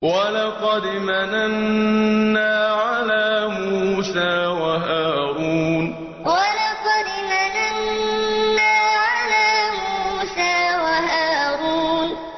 وَلَقَدْ مَنَنَّا عَلَىٰ مُوسَىٰ وَهَارُونَ وَلَقَدْ مَنَنَّا عَلَىٰ مُوسَىٰ وَهَارُونَ